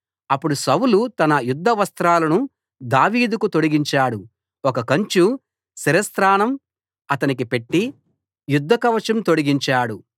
అప్పుడు సౌలు తన యుద్ధ వస్త్రాలను దావీదుకు తొడిగించాడు ఒక కంచు శిరస్త్రాణం అతనికి పెట్టి యుద్ధ కవచం తొడిగించాడు